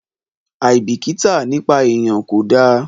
Àìbìkítà nípa èèyan kò dáa.